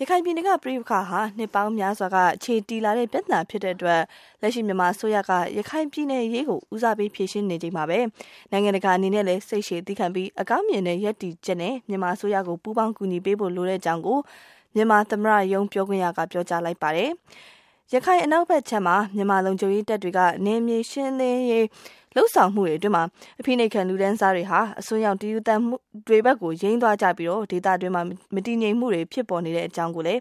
ရခိုင်ပြည်နယ်က ပဋိပက္ခဟာ နှစ်ပေါင်းများစွာက အခြေတည်လာတဲ့ ပြသနာဖြစ်တဲ့ အတွက် လက်ရှိမြန်မာအစိုးရက ရခိုင်ပြည်နယ်အရေးကို ဦးစားပေး ဖြေရှင်းနေ ချိန်မှာ နိုင်ငံတကာအနေနဲ့လည်း စိတ်ရှည်သည်းခံပြီး အကောင်းမြင်တဲ့ ရပ်တည် ချက်နဲ့ မြန်မာအစိုးရကို ပူးပေါင်းကူညီ ပေးဖို့လိုကြောင်း မြန်မာသမ္မတရုံးပြောခွင့် ရသူက ပြောကြားလိုက်ပါတယ်။ ရခိုင်အနောက်ဖက်ခြမ်းမှာ မြန်မာလုံခြုံရေးတပ်ဖွဲ့က နယ်မြေရှင်းလင်းရေး လုပ်ေ ဆာင်မှုအတွင်း ထောင်ချီတဲ့ လူနည်းစုမူဆလင်တွေ အိုးအိမ်စွန့်ခွါ ထွက်ပြေးနေရပြီး၊ ဖိနှိပ်ခံ ပြည်သူတွေကို ရှင်းလင်းရေး လုပ်နေတယ်ဆိုပြီး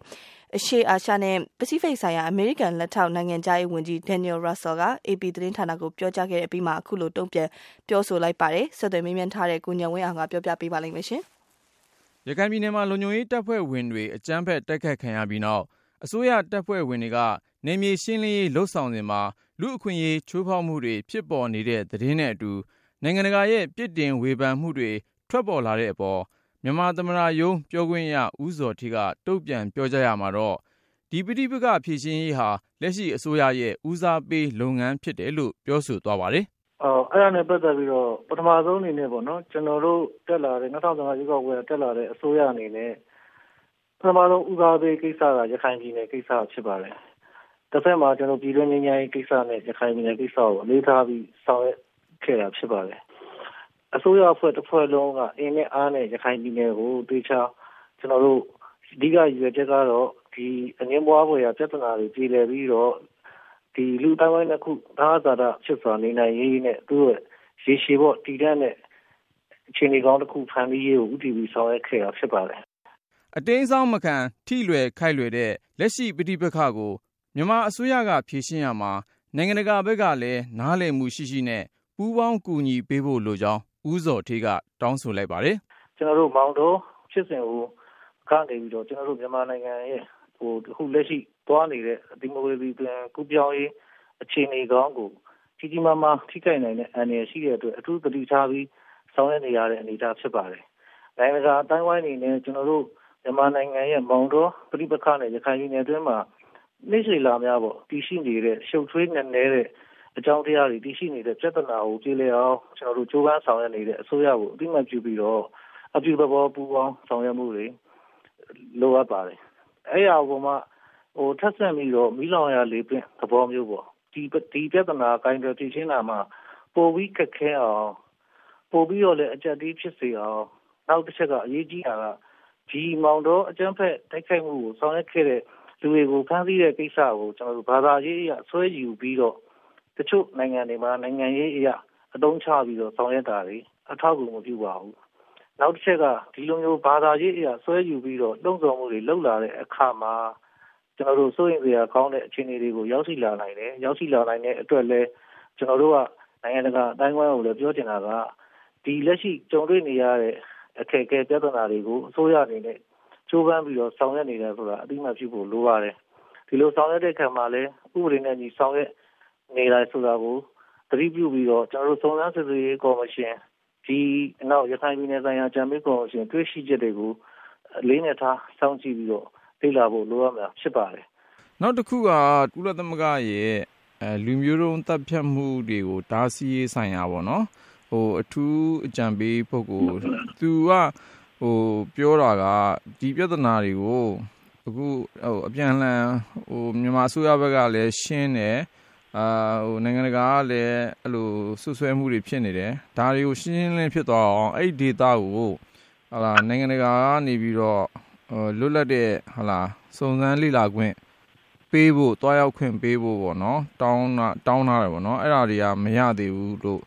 အရှေ့အာရှနဲ့ ပစိဖိတ် ဆိုင်ရာ အမေရိကန်လက်ထောက် နိုင်ငံခြားရေးဝန်ကြီး Daniel Russel က AP သတင်းဌာနကို ပြောကြားခဲ့အပြီး အခုလို တုန့်ပြန်ပြောဆိုလိုက်တာပါ။ ဆက်သွယ်ေ မးမြန်းထားတဲ့ ကိုဉာဏ်ဝင်းအောင်က ပြောပြပါမယ်။ ရခိုင်ပြည်နယ်မှာ လုံခြုံရေးတပ်ဖွဲ့ဝင်တွေ အကြမ်းဖက်တိုက်ခိုက်ခံရပြီးနောက် အစိုးရ တပ်ဖွဲ့ဝင်တွေက နယ်မြေရှင်းလင်းရေး လုပ်ဆောင်စဉ်မှာ လူ့အခွင့်အရေး ချိုးဖေါက်မှုတွေ ဖြစ်ပေါ်နေတဲ့ သတင်းနဲ့အတူ နိုင်ငံတကာရဲ့ ပြစ်တင်ဝေဖန်မှု ထွက်ပေါ် လာတဲ့အပေါ် မြန်မာသမ္မရုံးပြောခွင့်ရ ဦးဇော်ဌေးက တုန့်ပြန်ပြောကြား ရာမှာတော့ ဒီပဋိပက္ခဖြေရှင်းရေးဟာ လက်ရှိအစိုးရရဲ့ ဦးစားပေးလုပ်ငန်းဖြစ် တယ်လို့ ပြောကြားသွားပါတယ်။ “ အဲဒါနဲ့ပတ်သက်ပြီးတော့ ပထမဆုံးအနေနဲ့ ကျနော်တို့ ၂၀၁၅ ရွေးကောက်ပွဲကနေ တက်လာတဲ့ အစိုးရအနေနဲ့ ပထမဦးဆုံး ဦးစားပေး ကိစ္စက ရခိုင်ပြည်နယ်ကိစ္စဖြစ် ပါတယ်။ တဖက်မှာ ပြည်တွင်းငြိမ်းချမ်းရေးကိစ္စနဲ့.. ရခိုင်ပြည်နယ်ကိစ္စကို အလေး ထားပြီး ဆောင်ရွက်ခဲ့တာ ဖြစ်ပါတယ်။ အစိုးရအဖွဲ့တဖွဲ့လုံးက အင်နဲ့အားနဲ့ ရခိုင် ပြည်နယ်ကိုသေချာ -ကျနော်တို့ -အဓိက ရည်ရွယ်ချက်ကတော့ ဒီအငြင်းပွား ဖွယ် ပြသနာတွေ ပြေလည်ပြီးတော့ လူ့အသိုင်းအဝိုင်းနှစ်ခု သဟဇာတ ဖြစ်စွာနေ နိုင်ရေးနဲ့ သူတို့ရဲ့ရေရှည် တည်တံ့တဲ့ အခြေနေကောင်းတခု ဖန်တီးရေးကို ဦးတည်ဆောင်ရွက်ခဲ့တာ ဖြစ်ပါတယ် ” အတိမ်းအစောင်းမခံ ထိလွယ်ခိုက်လွယ်တဲ့ လက်ရှိပဋိပက္ခတွေကို မြန်မာအစိုးရ က ဖြေရှင်းရာမှာ နိုင်ငံတကာဖက်ကလည်း နားလည်မှုရှိရှိနဲ့ ပူးပေါင်းကူညီကြဖို့ လိုကြောင်း ဦးဇော်ဌေးက တောင်းဆိုလိုက်ပါတယ်။ “ ကျနော်တို့ မောင်တောဖြစ်စဉ်ကနေပြီးတော့ ကျနော်တို့ မြန်မာနိုင်ငံရဲ့ အခုလက်ရှိ သွားနေတဲ့ ဒီမိုကရေစီ အသွင်ကူးပြောင်းရေး အခြေနေကောင်းကို ကြီးကြီးမားမား ထိခိုက်နိုင်တဲ့ အန္တရာယ်ရှိတဲ့အတွက် အထူးသတိထားပြီး ဆောင်ရွက်နေရတဲ့ အနေ အထား ဖြစ်ပါတယ်။ နိုင်ငံတကာ အသိုင်းအဝိုင်းအနေနဲ့ ကျနော်တို့ မြန်မာနိုင်ငံ ရဲ့ မောင်တောပဋိပက္ခနဲ့ ရခိုင်ပြည်နယ် အတွင်းမှာ နှစ်ရှည်လများ တည်ရှိနေတဲ့၊ ရှုပ်ထွေးနက်နဲတဲ့ အကြောင်းတရားတွေ တည်ရှိနေတဲ့ ပြသနာကိုပြေလည်အောင် ကြိုးပမ်းဆောင်ရွက်နေတဲ့ ကျနော်တို့အစိုးရကို အသိအမှတ် ပြုပြီးတော့ အပြုသဘော ပူးပေါင်းဆောင်ရွက်မှုတွေ လိုအပ်ပါတယ်။ အဲဒါကိုမှ ထပ်ဆင့် ပြီးတော့ မီးလောင်ရာလေပင့် သဘောမျိုးပေါ့.. ဒီပြသနာကိုင်တွယ်ဖြေရှင်းတာမှာ ပိုပြီးခက်ခဲအောင် ပိုပြီးတော့လည်း အကြပ်အတည်းဖြစ်စေအောင်၊ နောက်တချက် အရေးကြီးတာက ဒီမောင်တော အကြမ်းဖက် တိုက်ခိုက်မှုကို ဆောင်ရွက်ခဲ့တဲ့ လူတွေကို ဖမ်းဆီးတဲ့ကိစ္စကို ဘာသာရေးအရ အစွဲယူပြီးတော့ တချို့နိုင်ငံတွေ မှာ နိုင်ငံရေးအရ အသုံးချပြီးဆောင်ရွက်တာတွေက အထောက်အကူ မပြုပါဘူး။ နောက် တချက်က ဒီလိုဘာသာရေးအရ အစွဲ ယူပြီးတော့ လှုံ့ဆော်မှုတွေ လုပ်လာတဲ့အခါမှာ စိုးရိမ်စရာကောင်းတဲ့ အခြေအနေတွေကို ရောက်ရှိလာနိုင် ပါတယ်။ ဒီလိုရောက်ရှိ လာနိုင်တဲ့ အတွက်လည်း ကျနော်တို့က နိုင်ငံတကာ အသိုင်းအဝိုင်း ကိုပြောချင်တာက ဒီလက်ရှိကြုံတွေ့နေရတဲ့ အခက်အခဲ ပြသနာတွေ ကို အစိုးရအနေနဲ့ ကြိုးပမ်းဆောင်ရွက်နေတယ်ဆိုတာကို အသိအမှတ်ပြုဖို့ လိုပါတယ်။ ဒီလိုဆောင်ရွက်တဲ့အခါမှာလည်း ဥပဒေနဲ့အညီ ဆောင်ရွက်နေတယ် ဆိုတာကို သတိပြုမိပြီးတော့ စုံစမ်းစစ်ဆေးရေးကော်မရှင်၊ နောက် ရခိုင်ပြည်ဆိုင်ရာ အကြံပေးကော်မရှင်ရဲ့ တွေ့ရှိချက်တွေကို အလေးအနက်ထား စောင့်ကြည့် ပြီးတော့ လေ့လာဖို့ လိုအပ်မယ်ထင်ပါတယ် ” မေး။ ။ နောက်တခုက ကုလသမဂ္ဂရဲ့ လူမျိုးတုန်းသတ်ဖြတ်ရေး တားဆီးမှုဆိုင်ရာ အထူးအကြံပေးပုဂ္ဂိုလ်- သူပြောတာက ဒီပြသနာတွေကို အပြန်အလှန်ပေါ့.. မြန်မာ အစိုးရဖက်ကလည်း ရှင်းလင်းတယ်၊ နိုင်ငံတကာကလည်း စွပ်စွဲမှုတွေရှိနေတယ်။ ဒါတွေကို ရှင်းရှင်းလင်းလင်း ဖြစ်သွားအောင် အဲဒီဒေသကို နိုင်ငံတကာက လွတ်လပ်တဲ့ စုံစမ်းလေ့လာအတွက် သွားရောက်ခွင့်ပေးဖို့ တောင်းထားတယ်ပေါ့ အဲဒါတွေက မရသေးဘူးလို့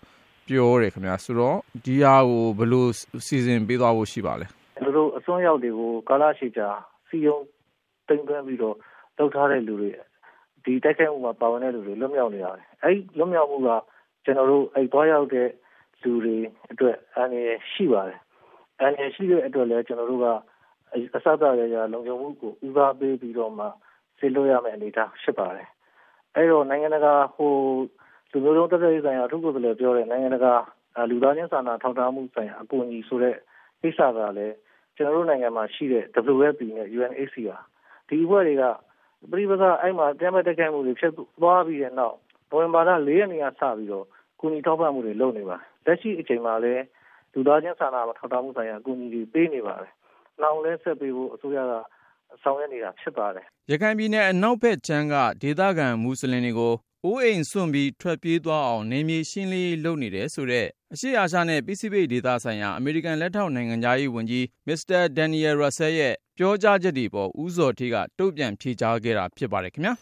ပြောတယ်ခင်ဗျ၊ အဲဒီတော့ ဒီဟာကို ဘယ်လို စီစဉ်ပေး သွားဖို့ ရှိပါသလဲ။ “ ဒီလိုအစွန်းရောက်တွေကို ကာလရှည်ကြာ စည်းရုံးသိမ်းသွင်းပြီးတော့ လုပ်ထားတဲ့ လူတွေ၊ ဒီတိုက်ခိုက်မှုမှာ ပါဝင်တဲ့လူတွေ လွတ်မြောက်နေကြတယ်။ အဲဒီ လွတ်မြောက်မှုက အဲဒီကိုသွားရောက်တဲ့ လူတွေအတွက် အန္တရာယ်ရှိပါတယ်။ အန္တရာယ်ရှိတဲ့ အတွက်လည်း ကျနော်တို့က အစစအရာရာ လုံခြုံမှုကို ဦးစားပေး ပြီးတော့မှ စေလွှတ်ရမယ့် အနေအထားဖြစ်ပါတယ်။ အဲဒီတော့ နိုင်ငံတကာ ဟို လူမျိုးတုန်း သတ်ဖြတ်ရေး တားဆီးမှုဆိုင်ရာ အထူးကိုယ်စားလှယ်ပြောတဲ့ နိုင်ငံ တကာ လူသားချင်း စာနာထောက်ထားမှုဆိုင်ရာ အကူအညီဆိုတဲ့ ကိစ္စကလည်း ကျနော်တို့နိုင်ငံမှာ ရှိတဲ့ WFP နဲ့ UNHCR.. ဒီအဖွဲ့တွေက အဲ့ဒီမှာ အကြမ်းဖက် တိုက်ခိုက်မှုတွေ ဖြစ်ပွားပြီးနောက် နိုဝင်ဘာလ ၄ရက်နေ့ကစပြီးတော့ ကူညီေ ထာက်ပံ့မှုတွေ လုပ်နေပါတယ်။ လက်ရှိအချိန်မှာလည်း လူသားချင်း စာနာထောက် ထားမှုဆိုင်ရာ အကူအညီတွေ ပေးနေပါတယ်။ နောင်လည်း ဆက်ပေးဖို့ အစိုးရက ဆောင်ရွက်နေတာ ဖြစ်ပါတယ် ” ရခိုင်ပြည်နယ် အနောက်ဖက်ခြမ်းက ဒေသခံမူဆလင်တွေကို အိုးအိမ်စွန့်ပြီး ထွက်ပြေးသွားအောင် နယ်မြေရှင်းလင်းရေး လုပ်နေတယ်ဆိုတဲ့ အရှေ့အာရှနဲ့ ပိစိဖိတ်ဒေသဆိုင်ရာ အမေရိကန် လက်ထောက်နိုင်ငံခြားရေးဝန်ကြီး Mr. Daniel Russel ရဲ့ပြောကြားချက်တွေအပေါ် ဦးဇော်ဌေးက တုန့်ပြန်ဖြေကြားခဲ့တာ ဖြစ်ပါ တယ်ခင်ဗျာ